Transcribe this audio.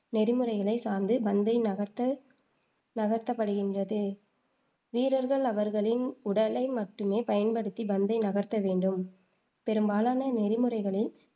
நெறிமுறைகளை சார்ந்து பந்தை நகர்த்த நகர்த்தப்படுகின்றது வீரர்கள் அவர்களின் உடலை மட்டுமே பயன்படுத்தி பந்தை நகர்த்த வேண்டும். பெரும்பாலான நெறிமுறைகளில்,